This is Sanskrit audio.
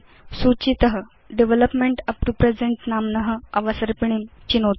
सूचित डेवलपमेंट उप्तो प्रेजेन्ट नाम्न अवसर्पिणीं चिनोतु